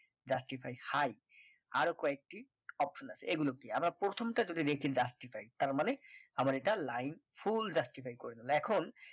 justify high আরো কয়েকটি option আছে এগুলো কি আমরা প্রথম টা যদি দেখি justify তারমানে আবার এটা লাইন full justify করে নিলো এখন